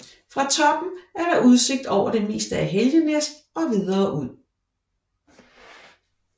Fra toppen er der udsigt over det meste af Helgenæs og videre ud